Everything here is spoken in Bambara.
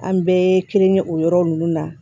An bɛɛ kelen ye o yɔrɔ ninnu na